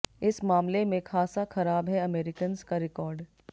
इस मामले में खासा खराब है अमेरिकन्स का रेकॉर्ड